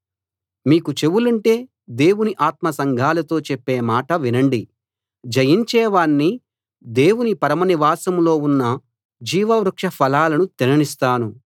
మీకు చెవులుంటే దేవుని ఆత్మ సంఘాలతో చెప్పే మాట వినండి జయించేవాణ్ణి దేవుని పరమ నివాసంలో ఉన్న జీవ వృక్ష ఫలాలను తిననిస్తాను